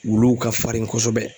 Wuluw ka farin kosɛbɛ